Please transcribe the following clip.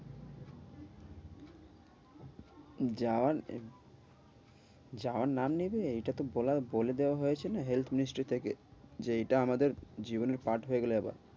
যাওয়ার যাওয়ার নাম নেবে এটা তো বলার বলে দেওয়া হয়েছে না health ministry থেকে। যে এইটা আমাদের জীবনের part হয়ে গেলো এবার।